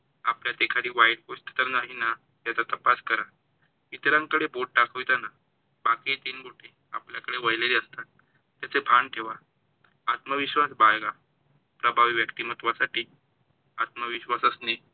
आपल्यात एखादी वाईट गोष्ट तर नाही ना याचा तपास करा. इतरांकडे बोट दाखवताना बाकी तीन बोटी आपल्याकडे वळलेले असतात ह्याच भान ठेवा. आत्मविश्वास बाळगा. प्रभावी व्यक्तिमत्वासाठी आत्मविश्वास असणे